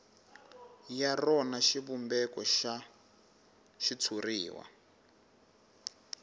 ya rona xivumbeko xa xitshuriwa